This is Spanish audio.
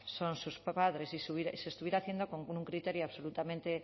son sus padres y se estuviera haciendo con un criterio absolutamente